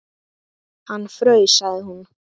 Hann fraus, sagði hún.